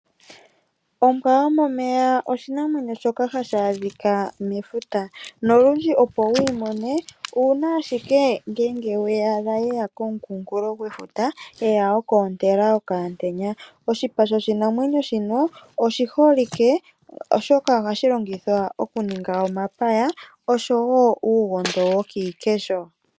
Ombwa yo momeya oshinamwenyo shoka hashi adhika mefuta, noludji opo wuyi mone uuna ashike ngele weyaadha yeya komukunkulo gwefuta yeya oku ontela okayantenya. Oshipa shoshinamwenyo shino oshi holike oshoka, ohashi longithwa oku ninga omapaya nosho wo uugondo wo kiikesho.